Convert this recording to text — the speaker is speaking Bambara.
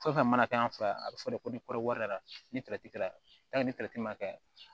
Fɛn o fɛn mana kɛ an fɛ yan a bɛ fɔ de ko ni kɔɔri ni kɛra ni ma kɛ